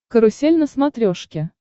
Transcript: карусель на смотрешке